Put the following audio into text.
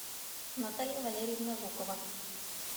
наталья валерьевна жукова